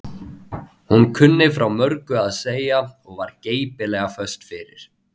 Hún kunni frá mörgu að segja og var geipilega föst fyrir.